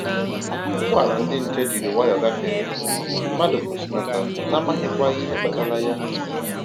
Ụgbọala ndi nche jiri nwayọ gafee, mmadụ kwụsịnata na amaghịkwa ihe kpatara ya